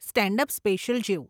Stand up special જેવું.